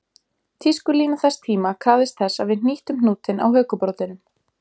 Tískulína þess tíma krafðist þess að við hnýttum hnútinn á hökubroddinum